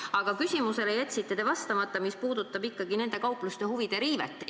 Aga te jätsite ikkagi vastamata küsimusele, mis puudutab nende kaupluste huvide riivet.